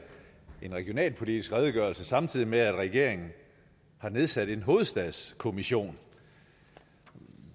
en regionalpolitisk redegørelse samtidig med at regeringen har nedsat en hovedstadskommission